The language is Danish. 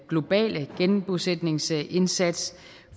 globale genbosætningsindsats